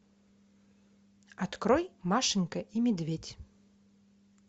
открой машенька и медведь